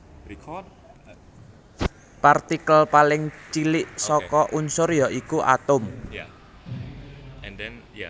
Partikel paling cilik saka unsur ya iku atom